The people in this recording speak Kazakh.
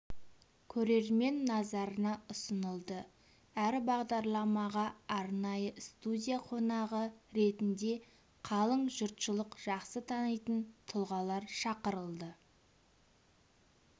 көрермен назарына ұсынылды әр бағдарламаға арнайы студия қонағы ретінде қалың жұртшылық жақсы танитын тұлғалар шақырылды